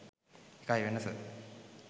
ඒකයි වෙනස.